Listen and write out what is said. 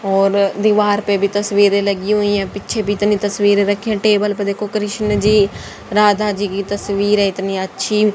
और दीवार पे भी तस्वीरें लगी हुईं हैं पीछे भी इतनी तस्वीर रखी है टेबल पे देखो कृष्णजी राधाजी की तस्वीर है इतनी अच्छी।